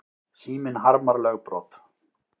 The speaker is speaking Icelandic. Síminn harmar lögbrot